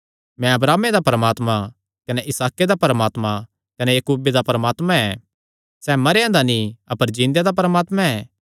मैं अब्राहमे दा परमात्मा कने इसहाके दा परमात्मा कने याकूबे दा परमात्मा ऐ सैह़ मरेयां दा नीं अपर जिन्देया दा परमात्मा ऐ